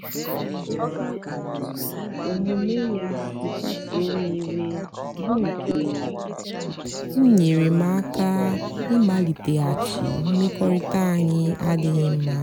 o kwetara otú um omume ya si kpasuo m iwe bụ́ nke um nyeere m aka ịmaliteghachi mmekọrịta anyị na-adịghị mma.